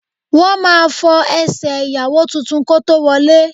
Wọ́n máa fọ ẹsẹ̀ ìyàwó tuntun kó tó wọlé